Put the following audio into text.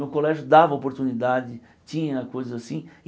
No colégio dava oportunidade, tinha coisas assim.